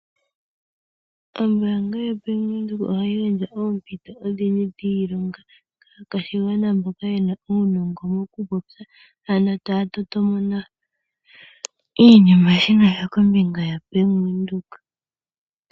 Ombaanga yoBank Windhoek ohayi gandja oompiito odhindji dhiilonga kaakwashigwana mboka yena uunongo mokupopya, ano taya totomona iinima ayihe kombinga yoBank Windhoek.